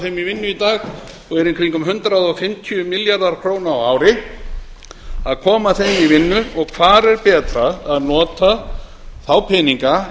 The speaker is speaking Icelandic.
sínum í vinnu í dag og eru í kringum hundrað og fimmtíu milljarðar króna á ári hvar er betra að nota þá peninga